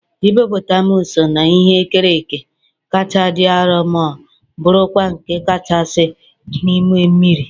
hippopotamus so na ihe e kere eke kacha dị arọ ma bụrụkwa nke kachasị n'ime mmiri.